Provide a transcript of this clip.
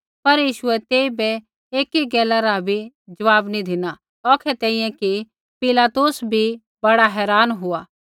पर यीशुऐ तेइबै एकी गैला रा बी ज़वाब नी धिना औखै तैंईंयैं कि पिलातुस बी बड़ा हैरान हुआ